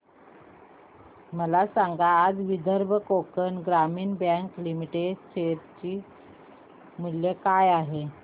मला सांगा आज विदर्भ कोकण ग्रामीण बँक लिमिटेड च्या शेअर चे मूल्य काय आहे